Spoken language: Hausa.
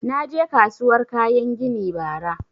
Na je kasuwar kayan gini bara